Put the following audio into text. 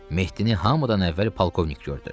Mehdini hamıdan əvvəl polkovnik gördü.